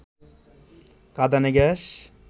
কাঁদানে gas